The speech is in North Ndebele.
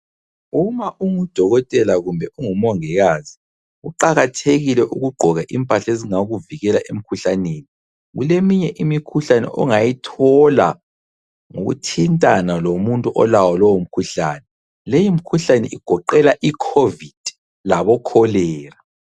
Uma ungudokotela kumbe ungumongikazi kuqakathekile ukugqoka impahla ezingakuvikela emkhuhlaneni . Kuleminye imikhuhlane ongayithola ngokuthintana lomuntu olawo lowo mkhuhlane. Leyo mkhuhlane igoqela iCovid laboCholera.